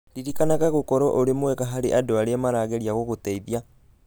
Ririkanaga gũkorũo ũrĩ mwega harĩ andũ arĩa marageria gũgũteithia